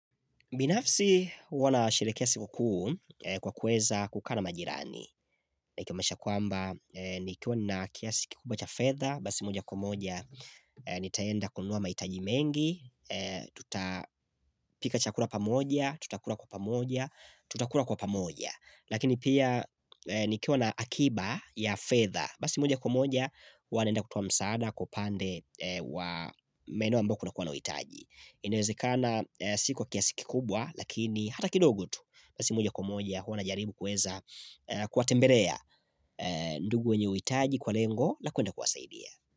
Binafsi huwa nasherehekea siku kuu kwa kueza kukaa na majirani binafsi huwa nasherehekea siku kuu kwa kueza kukaa na majirani Ikiwamasha kwamba nikiona kiasi kukubwa cha fedha Basi moja kwa moja nitaenda kununua mahitaji mengi nikiwa na akiba ya fedha Basi moja kwa moja huwa naenda kutoa msaada kwa upande wa maeneo ambayo kunakuwa na uhitaji Inewezekana sikwa kiasi kikubwa lakini hata kidogu tu basi moja kwa moja huwa najaribu kuweza kuwatembelea ndugu wenye uhitaji kwa lengo la kuenda kuwasaidia.